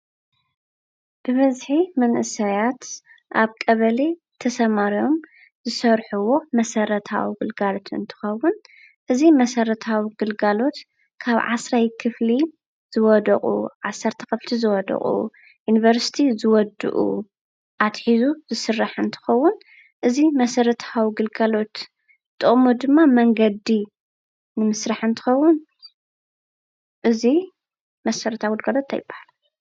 ብበዝሒ መንእሰያት ኣብ ቀበሌ ተሰማርዮም ዝሰርሕዎ መሰረታዊ ግልጋሎት እንትኸውን እዚ መሰረታዊ ግልጋሎት ካብ 10ይ ክፍሊ ዝወደቁ፣12 ዝወደቑ፣ ዩኒቨርስቲ ዝወድኡ ኣትሒዙ ዝስራሕ እንትኸውን እዚ መሰረታዊ ግልጋሎት ጥቕሙ ድማ መንገዲ ንምስራሕ እንትኸውን እዚ መሰረታዊ ግልጋሎት እንታይ ይባሃል?